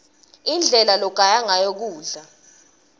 indlela logaya ngayo kudla